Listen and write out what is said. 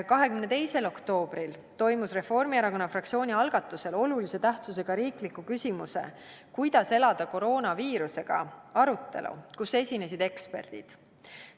22. oktoobril toimus Reformierakonna fraktsiooni algatusel olulise tähtsusega riikliku küsimuse "Kuidas elada koroonaviirusega?" arutelu, kus esinesid eksperdid.